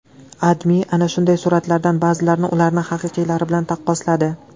AdMe ana shunday suratlardan ba’zilarini ularning haqiqiylari bilan taqqosladi .